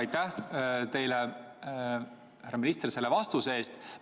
Aitäh teile, härra minister, selle vastuse eest!